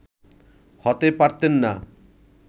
হতে পারতেন না